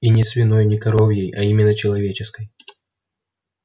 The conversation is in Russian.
и не свиной не коровьей а именно человеческой